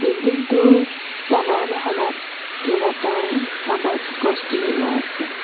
বিল্ডিংটোৰ তলৰ মহলাত কেইবাটাও টাবত গছ পুলি ৰোৱা আছে।